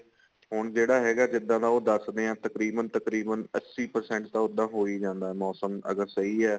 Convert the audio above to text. ਹੁਣ ਜਿਹੜਾ ਹੈਗਾ ਜਿੱਦਾਂ ਦਾ ਉਹ ਦੱਸਦੇ ਏ ਤਕਰੀਬਨ ਤਕਰੀਬਨ ਅੱਸੀ percent ਤਾਂ ਉਦਾਂ ਹੋ ਹੀ ਜਾਂਦਾ ਮੋਸਮ ਅਗਰ ਸਹੀ ਏ